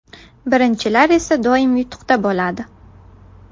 Birinchilar esa doim yutuqda bo‘ladi!